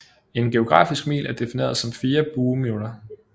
En geografisk mil er defineret som 4 bueminutter